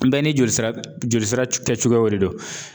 Bɛɛ ni joli sira jolisira kɛcogoyaw de don